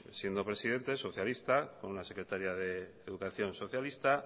siendo presidente socialista con una secretaria de educación socialista